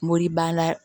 Moribana